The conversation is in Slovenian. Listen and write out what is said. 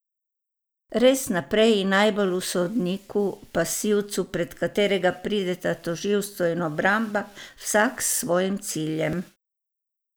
Res najprej in najbolj v sodniku, pasivcu, pred katerega prideta tožilstvo in obramba, vsak s svojim ciljem?